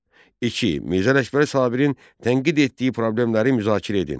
İki. Mirzə Ələkbər Sabirin tənqid etdiyi problemləri müzakirə edin.